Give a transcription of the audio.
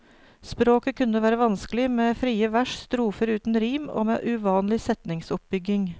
Språket kunne være vanskelig, med frie vers, strofer uten rim, og med uvanlig setningsoppbygging.